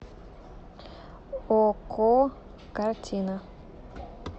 окко картина